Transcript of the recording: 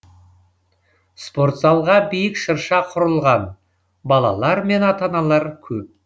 спорт залға биік шырша құрылған балалар мен ата аналар көп